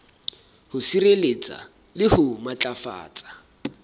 ho sireletsa le ho matlafatsa